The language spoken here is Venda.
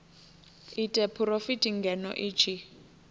ite phurofiti ngeno i tshi